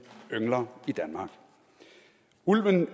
yngler i danmark ulven